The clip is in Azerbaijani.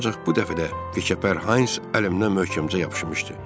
Ancaq bu dəfə də Wickeeper Hans əlimdən möhkəmcə yapışmışdı.